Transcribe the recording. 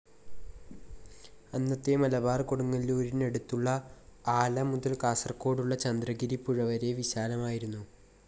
അന്നത്തെ മലബാർ കൊടുങ്ങല്ലൂരിനടുത്തുള്ള ആല മുതൽ കാസർഗോഡുള്ള ചന്ദ്രഗിരിപ്പുഴ വരെ വിശാലമായിരുന്നു.